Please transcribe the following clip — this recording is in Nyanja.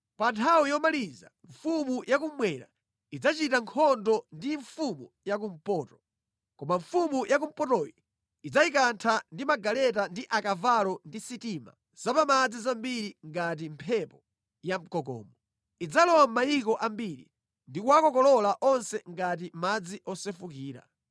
“Pa nthawi yomaliza mfumu yakummwera idzachita nkhondo ndi mfumu yakumpoto. Koma mfumu yakumpotoyi idzayikantha ndi magaleta ndi akavalo ndi sitima zapamadzi zambiri ngati mphepo yamkokomo. Idzalowa mʼmayiko ambiri ndikuwakokolola onse ngati madzi osefukira.